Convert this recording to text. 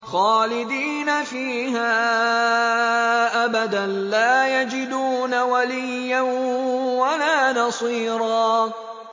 خَالِدِينَ فِيهَا أَبَدًا ۖ لَّا يَجِدُونَ وَلِيًّا وَلَا نَصِيرًا